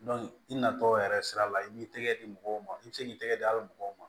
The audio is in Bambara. i natɔ yɛrɛ sira la i b'i tɛgɛ di mɔgɔw ma i bɛ se k'i tɛgɛ di a bɛ mɔgɔw ma